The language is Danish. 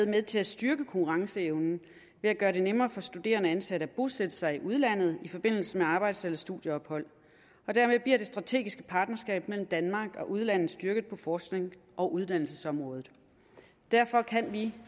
med til at styrke konkurrenceevnen ved at gøre det nemmere for studerende og ansatte at bosætte sig i udlandet i forbindelse med arbejds eller studieophold dermed bliver det strategiske partnerskab mellem danmark og udlandet styrket på forsknings og uddannelsesområdet derfor kan vi